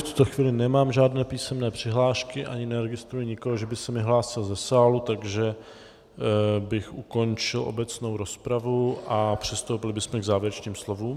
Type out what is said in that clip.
V tuto chvíli nemám žádné písemné přihlášky, ani neregistruji nikoho, že by se mi hlásil ze sálu, takže bych ukončil obecnou rozpravu a přistoupili bychom k závěrečným slovům.